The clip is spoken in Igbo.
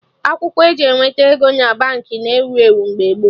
Akwụkwọ eji eweta ego na Baankị na ewu ewu mgbe gboo